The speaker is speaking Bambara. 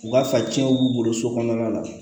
U ka fa cɛnw b'u bolo so kɔnɔna na